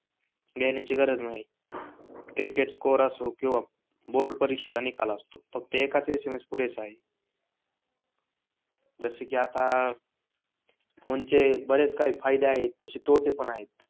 घेण्याची गरज नाही. क्रिकेट स्कोर असो किंवा बोर्ड परीक्षेचा निकाल असतो फक्त एकाच एसएमएस पुरेसा आहे. जसे कि आता फोन चे बरेच काही फायदे आहेत तसे तोटे पण आहेत.